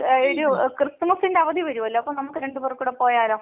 ക്രിസ്തുമസിന്റെ അവധി വരൂലോ അപ്പോ നമുക്ക് രണ്ട് പേർക്കും കൂടി പോയാലോ?